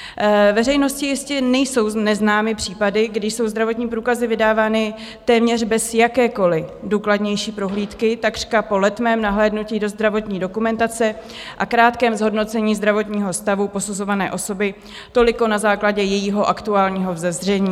Veřejnosti jistě nejsou neznámy případy, kdy jsou zdravotní průkazy vydávány téměř bez jakékoliv důkladnější prohlídky, takřka po letmém nahlédnutí do zdravotní dokumentace a krátkém zhodnocení zdravotního stavu posuzované osoby toliko na základě jejího aktuálního vzezření.